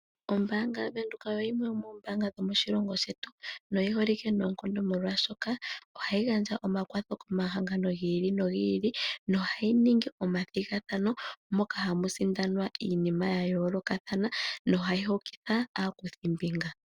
Ombaanga yaWindhoeka oyo yimwe yomoombanga dho moshilongo shetu, noyi holike noonkondo molwaashoka ohayi gandja omakwatho komahangano gi ili nogi ili, nohayi ningi omathigathano moka hamu sindanwa iinima ya yoolokathana nohayi hokitha aakuthimbinga.